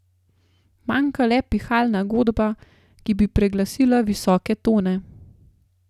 Manjka le pihalna godba, ki bi preglasila visoke tone.